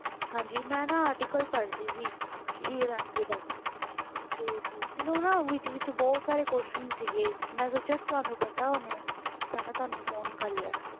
ਹਾਂਜੀ ਮੈਂ ਨਾ article ਪੜ੍ਹ ਰਹੀ ਸੀ ਹੀਰ ਰਾਂਝੇ ਦਾ ਤੇ ਮੈਨੂੰ ਨਾ ਵਿਚ ਵਿਚ ਬਹੁਤ ਸਾਰੇ question ਸੀਗੇ ਮੈਂ ਸੋਚਿਆ ਤੁਹਾਨੂੰ ਪਤਾ ਹੋਣੇ ਤਾ ਮੈਂ ਤੁਹਾਨੂੰ phone ਕਰਲਿਆ